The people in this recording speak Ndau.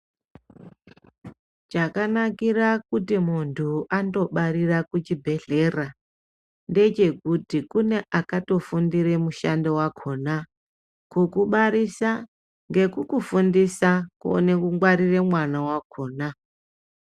Cgakanakira kuti muntu andovarira kuchibhedhlera ndechekuti kune akatofundire mushando wakhona kukubarisa ngekukufundisa kuone kungwarire mwana wakhona.